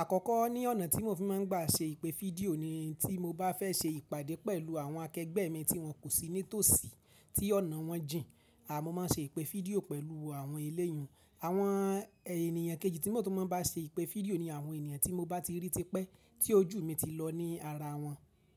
Àkọ́kọ́ ní ọ̀nà tí mo fi má n gbà ṣe ìpè fídíò ni tí mo bá fẹ́ ṣe ìpàdé pẹ̀lú àwọn akẹgbẹ́ mi tí wọ́n kò sí nítòsí, tí ọ̀nà wọn jìn. À mó má n ṣe ìpè fídíò pẹ̀lú àwọn eléyun. Àwọn ènìyàn kejì tí mo tún má n bá ṣe ìpè fídíò ni àwọn ènìyàn tí mo bá ti rí tipẹ́ tí ojú mi ti lọ ní ara wọn.